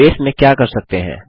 आप बेस में क्या कर सकते हैं